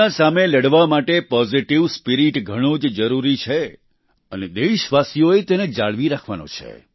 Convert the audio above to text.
corona સામે લડવા માટે પોઝીટીવ સ્પિરિટ ઘણો જ જરૂરી છે અને દેશવાસીઓએ તેને જાળવી રાખવાનો છે